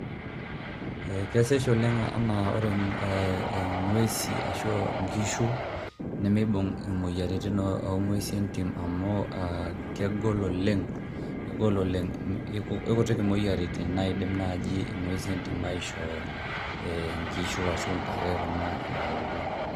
Kesesh oleng' ena ore ee ng'uesi ashu a nkishu nemibung' moyiaritin o ng'uesi entim amu aa kegol oleng' kegol oleng', kekutik imoyiaritin naidim ng'uesi entim aishoo nkishu ashu ntare kuna e aulo.